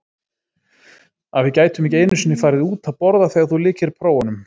Að við gætum ekki einu sinni farið út að borða þegar þú lykir prófunum.